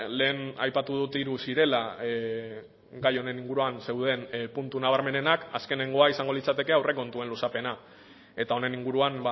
lehen aipatu dut hiru zirela gai honen inguruan zeuden puntu nabarmenenak azkenengoa izango litzateke aurrekontuen luzapena eta honen inguruan